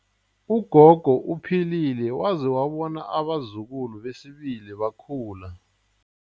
Ugogo uphilile waze wabona abazukulu besibili bekhula.